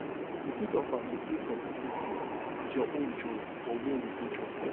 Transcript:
you fit offer to pay for persin food with your own join for where you go chop